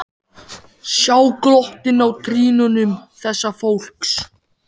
Sjá glottið á trýnum þessa fólks.